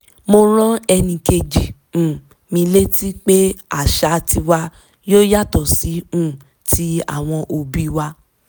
mo rán ẹnì kejì um mi létí pé àṣà tiwa yóò yàtọ̀ sí um ti àwọn òbí wa